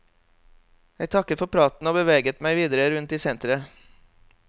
Jeg takket for praten og beveget meg videre rundt i senteret.